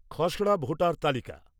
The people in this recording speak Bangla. খসড়া ভোটার তালিকা